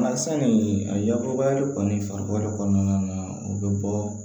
Nka sanni a yakobari kɔni farikolo kɔnɔna na u bɛ bɔ